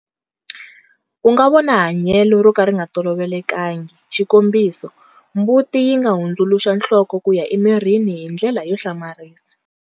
U nga vona hanyelo ro ka ri nga tolovelekangi, xikombiso, mbuti yi nga hundzuluxa nhloko ku ya emirini hi ndlela yo hlamarisa.